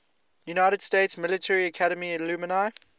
united states military academy alumni